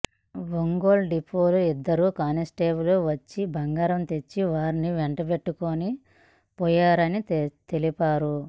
ఒంగోలు డిపోలు ఇద్దరు కానిస్టేబుళ్లు వచ్చి బంగారం తెచ్చేవారిని వెంటబెట్టుకుని పోయారని తెలిపారు